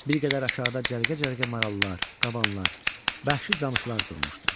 Bir qədər aşağıda cərgə-cərgə marallar, qabanlar, bəhşi camışlar durmuşdu.